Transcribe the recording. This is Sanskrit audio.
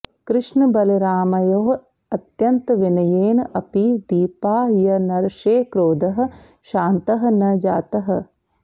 कृष्णबलरामयोः अत्यन्तविनयेन अपि दीपायनर्षेः क्रोधः शान्तः न जातः